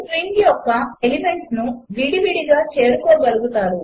5 string యొక్క ఎలిమెంట్స్ను విడివిడిగా చేరుకోగలుగుతారు